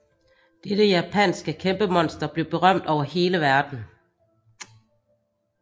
Dette japanske kæmpemonster blev berømt over hele verden